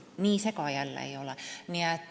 Nii see ka ei ole.